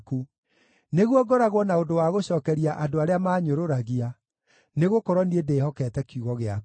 nĩguo ngoragwo na ũndũ wa gũcookeria andũ arĩa maanyũrũragia, nĩgũkorwo niĩ ndĩhokete kiugo gĩaku.